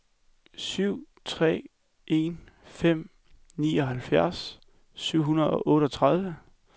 syv tre en fem nioghalvfems syv hundrede og otteogtredive